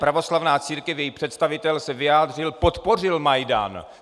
Pravoslavná církev, její představitel se vyjádřil, podpořil Majdan.